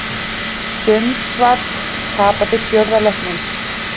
Sundsvall tapaði fjórða leiknum